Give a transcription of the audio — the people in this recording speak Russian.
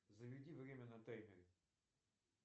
заведи время на таймере